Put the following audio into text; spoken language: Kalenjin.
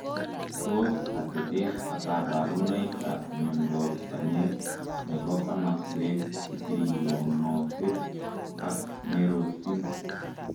Tos atepeet ak kaparunoik ap miondoop panyeek ,nepoo komasweek sekeionotet ak Merosiiin